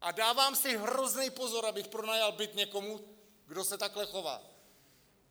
A dávám si hrozný pozor, abych pronajal byt někomu, kdo se takhle chová!